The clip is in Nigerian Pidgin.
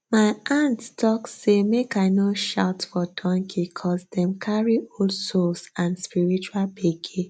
my aunt talk say make i no shout for donkey coz dem carry old souls and spiritual gbege